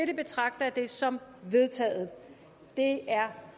betragter jeg det som vedtaget det er